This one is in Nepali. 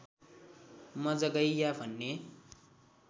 मजगैयाँ भन्ने